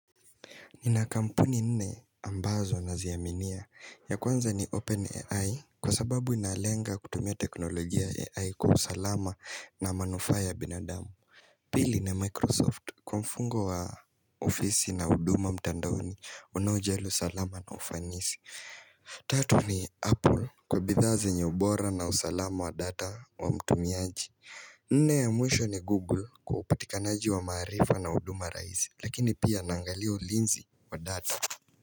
Nina kampuni nne ambazo naziaminia ya kwanza ni OpenAI kwa sababu inalenga kutumia teknolojia ya AI kwa usalama na manufaa ya binadamu. Pili ni Microsoft kwa mfungo wa ofisi na huduma mtandaoni unaojali usalama na ufanisi. Tatu ni Apple kwa bidhaa zenye ubora na usalama wa data wa mtumiaji. Nne ya mwisho ni Google kwa upatikanaji wa maarifa na huduma rahisi lakini pia naangalia ulinzi wa data.